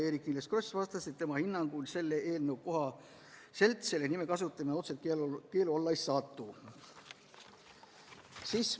Eerik-Niiles Kross vastas, et tema hinnangul selle eelnõu kohaselt Rebase nime kasutamine otseselt keelu alla ei satu.